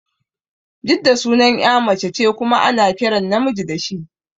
Jidda sunan ƴa mace ce kuma ana kiran namiji da shi